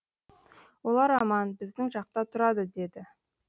олар аман біздің жақта тұрады деді